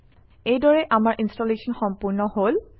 এইদৰে আমাৰ ইনষ্টলেশ্যন সম্পূৰ্ণ হল